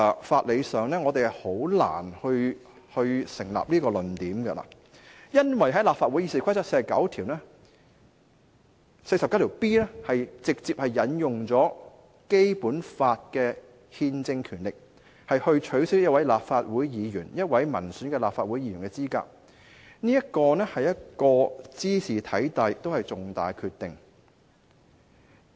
法理上，我認為這個論點難以成立，因為立法會《議事規則》第 49B 條直接引用了《基本法》的憲政權力來取消一位立法會議員——一位民選立法會議員——的資格，茲事體大，而且也是一個重大的決定。